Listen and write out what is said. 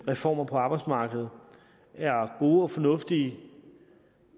reformer på arbejdsmarkedet er gode og fornuftige